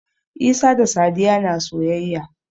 Isa da Sadiya na soyayya.